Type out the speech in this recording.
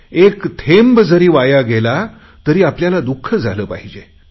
एक थेंब जरी वाया गेला तरी आपल्याला दुख झाले पाहिजे